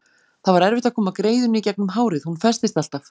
Það var erfitt að koma greiðunni í gegnum hárið, hún festist alltaf.